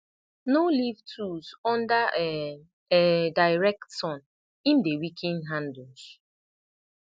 no leave tools under um um direct sun im dey weaken handles